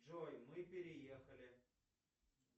джой мы переехали